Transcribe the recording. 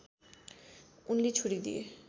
उनले छोडदिए